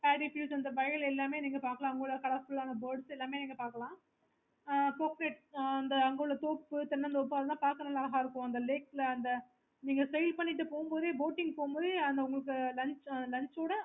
okay